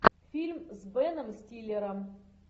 фильм с беном стиллером